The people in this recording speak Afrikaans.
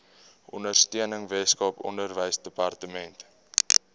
ondersteuning weskaap onderwysdepartement